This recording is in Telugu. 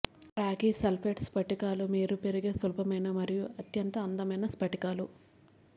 రాగి సల్ఫేట్ స్ఫటికాలు మీరు పెరిగే సులభమైన మరియు అత్యంత అందమైన స్ఫటికాలు